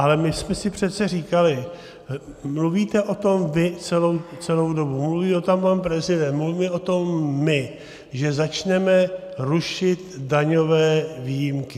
Ale my jsme si přece říkali - mluvíte o tom vy celou dobu, mluví o tom pan prezident, mluvíme o tom my - že začneme rušit daňové výjimky.